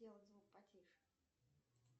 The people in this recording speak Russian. сделать звук потише